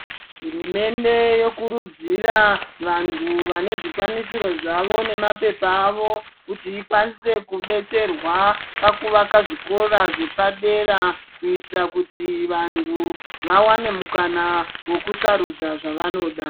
Hurumende yokurudzira vantu vane zvikwanisiro zvavo nemapepa avo kuti ikwanise kubetserwa pakuvaka zvikora zvepadera kuitira kuti vantu vawane mukana wokusarudza zvavanoda.